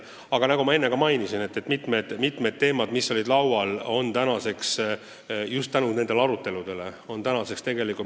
Aga nagu ma enne märkisin, mitmed laual olnud sätted on just tänu nendele aruteludele muutunud.